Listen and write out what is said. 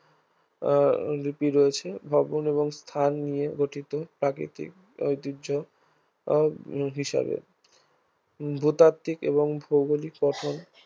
আহ লিপি রয়েছে ভগ্ন এবং স্থান নিয়ে গঠিত প্রাকৃতিক ঐতিহ্য আহ হিসাবে ভূতাত্ত্বিক এবং ভৌগোলিক গঠন